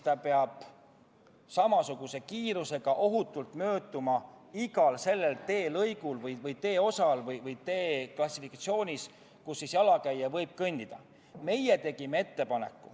Ta peab mööduma samasuguse kiirusega ja ohutult igal teelõigul või teeosal või tee klassifikatsioonil, kus jalakäija võib kõndida.